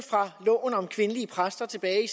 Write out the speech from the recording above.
loven om kvindelige præster tilbage i